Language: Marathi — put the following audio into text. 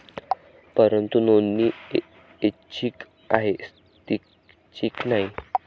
परंतु नोंदणी ऐच्छिक आहे, सक्तीची नाही.